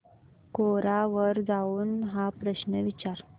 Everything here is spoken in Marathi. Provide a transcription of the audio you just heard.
कोरा वर जाऊन हा प्रश्न विचार